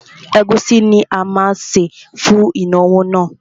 Ẹ̀gúsí ni a má sè fún ìnáwó náà.